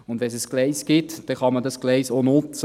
Und wenn es ein Gleis gibt, kann man das Gleis auch nutzen.